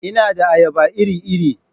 Ina da ayaba iri-iri.